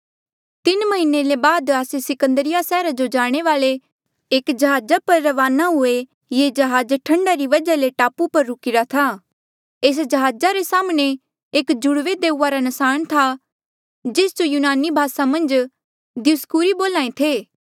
तीन म्हीने ले बाद आस्से सिकंदरिया सैहरा जो जाणे वाले एक जहाजा पर रवाना हुए ये जहाज ठंडा री वजहा ले टापू पर रुकिरा था एस जहाज रे साम्हणें एक जुड़वे देऊआ रा नसाण था जेस जो यूनानी भासा मन्झ दियुसकूरी बोल्हां ऐें थे